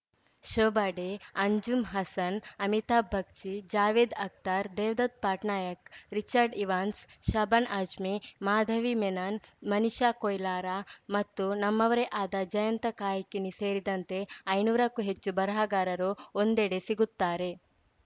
Shobha De Anjum Hasan Amitabh Bagchi Javed Akhtar Devdutt Pattanaik Richard Evans Shabana Azmi Madhavi Menon Manisha Koirala ಮತ್ತು ನಮ್ಮವರೇ ಆದ ಜಯಂತ ಕಾಯ್ಕಿಣಿ ಸೇರಿದಂತೆ ಐನೂರಕ್ಕೂ ಹೆಚ್ಚು ಬರಹಗಾರರು ಒಂದೆಡೆ ಸಿಗುತ್ತಾರೆ